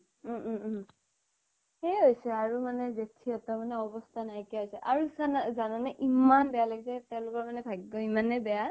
উম উম উম সেয়াই হৈছে আৰু মানে জেঠাৰ মানে অৱস্থা নাইকিয়া হৈছে আৰু চা না জানানে ইমান বেয়া লাগিছে তেওঁলোকৰ ভাগ্য ইমানে বেয়া